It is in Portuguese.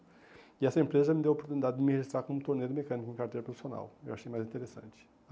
E essa empresa me deu a oportunidade de me registrar como torneio mecânico em carteira profissional, eu achei mais interessante.